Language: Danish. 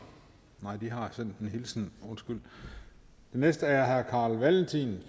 nej de har sendt en hilsen undskyld den næste er herre carl valentin